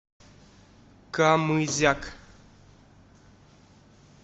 камызяк